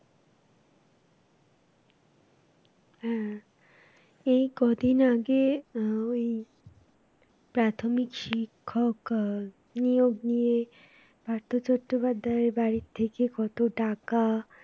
হ্যাঁ, এই কদিন আগে আহ ওই প্রাথমিক শিক্ষক আহ নিয়োগ নিয়ে পার্থ চট্টোপাধ্যায়ের বাড়ি থেকে কত টাকা